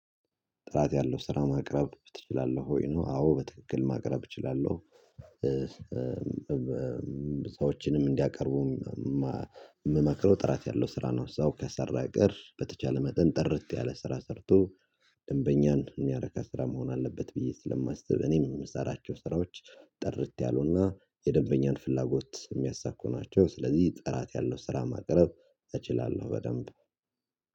ጥራት ያለው ስራ ማቅረብ ትችላለህ ወይ ነው? አዎ በትክክል ማቅረብ እችላለሁ ሰዎችን ሰዎችንም እንዲያቀርቡ የምመክረው ጥራት ያለው ስራ ነው። ሰው ከሰራ ቀር በተቻለ መጠን ጥርት ያለ ስራ ሰርቶ ደንበኛን የሚያረካ ስራ መሆን አለበት ብዬ ስለማስብ። እኔም የምሰራቸው ስራዎች ጥርት ያሉና የደንበኛን ፍላጎት የሚያሳኩ ናቸው። ስለዚህ ጥራት ያለው ስራ ማቅረብ እችላለሁ በደንብ